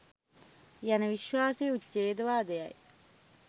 යන විශ්වාසය උචේඡ්ද වාදය යි